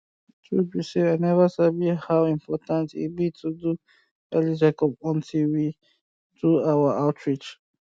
truth be say i never sabi how important e be to do early checkup until we um do our outreach